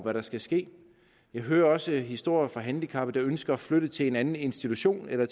hvad der skal ske jeg hører også historier fra handicappede der ønsker at flytte til en anden institution eller